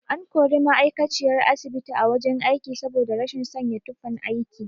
An kori ma'aikaciyar asibiti a wajen aiki saboda rashin sanya tufan aiki.